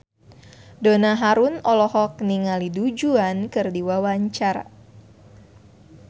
Donna Harun olohok ningali Du Juan keur diwawancara